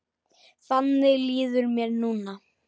Þannig líður mér núna.